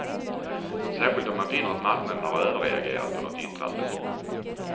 Särskilt om man finner att marknaden har överreagerat på något yttrande.